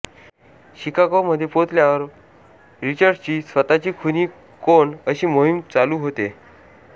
Chicago मध्ये पोहोचल्या वर रिचर्डची स्वताची खुनी कोण अशी मोहिम चालु होते